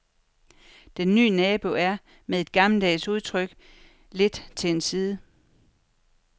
Den nye nabo er, med et gammeldags udtryk, lidt til en side.